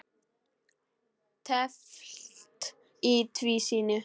Teflt í tvísýnu